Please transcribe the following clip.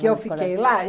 Que eu fiquei lá?